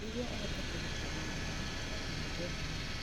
Nĩguo ũhote kũgitĩra mwĩrĩ waku, ũtiga kũnyua njohi mũno.